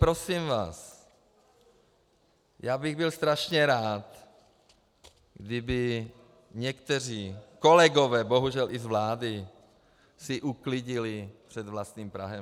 Prosím vás, já bych byl strašně rád, kdyby někteří kolegové, bohužel i z vlády, si uklidili před vlastním prahem.